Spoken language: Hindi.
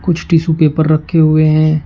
कुछ टिशू पेपर रखे हुए हैं।